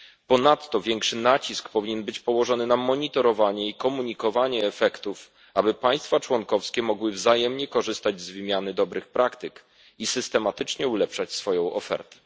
Ponadto większy nacisk powinien być położony na monitorowanie i komunikowanie efektów, aby państwa członkowskie mogły wzajemnie korzystać z wymiany dobrych praktyk i systematycznie ulepszać swoją ofertę.